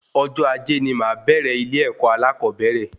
Ọjọ ajé ní máa bẹrẹ ilé-èkó alakobere